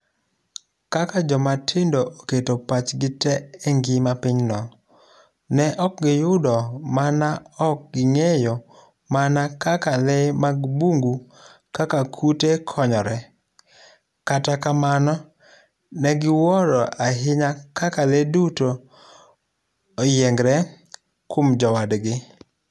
Kaka jomatindogo oketo pachgi tee e ngima pinyno, ne ok giyudo mana ok ging'eyo mana kaka lee mag bungu kaka kute konyre, kata kamano ne giwuoro ahinya kaka lee duto oyiengre kuom jowadgi..